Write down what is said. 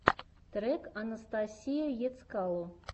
трек анастасия ецкало